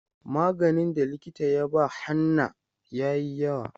Maganin da likita ya ba Hannah yayi yawa.